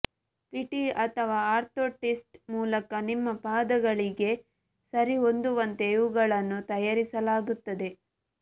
PT ಅಥವಾ orthotist ಮೂಲಕ ನಿಮ್ಮ ಪಾದಗಳಿಗೆ ಸರಿಹೊಂದುವಂತೆ ಇವುಗಳನ್ನು ತಯಾರಿಸಲಾಗುತ್ತದೆ